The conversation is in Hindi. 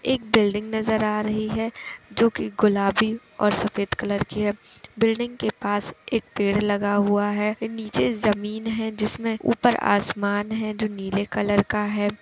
एक बिल्डिंग नज़र आ रही है जो कि गुलाबी और सफ़ेद कलर की है । बिल्डिंग के पास एक पेड़ लगा हुआ है फिर नीचे ज़मीन है जिसमें ऊपर आसमान है जो नीले कलर का है।